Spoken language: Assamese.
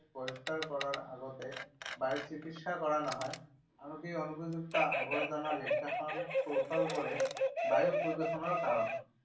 বহিষ্কাৰ কৰাৰ আগতে বায়ুৰ চিকিৎসা কৰা নহয়। আনকি অনুপযুক্ত আৱৰ্জনা নিষ্কাশন কৌশলবোৰো বায়ু প্ৰদূষণৰ কাৰণ।